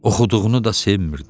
Oxuduğunu da sevmir.